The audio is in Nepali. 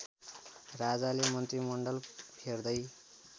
राजाले मन्त्रीमण्डल फेर्दै